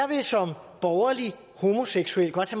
vil jeg som borgerlig homoseksuel godt